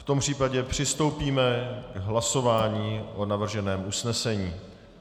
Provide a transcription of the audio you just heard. V tom případě přistoupíme k hlasování o navrženém usnesení.